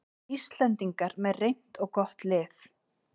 Íslendingar með reynt og gott lið